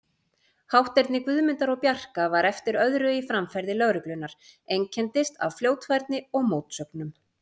Hátterni Guðmundar og Bjarka var eftir öðru í framferði lögreglunnar, einkenndist af fljótfærni og mótsögnum.